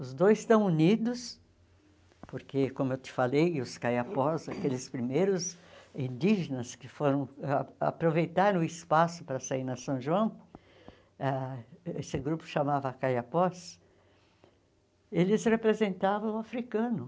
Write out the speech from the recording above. Os dois estão unidos porque, como eu te falei, os Kayapós, aqueles primeiros indígenas que foram a aproveitaram o espaço para sair na São João, ah esse grupo se chamava Kayapós, eles representavam o africano.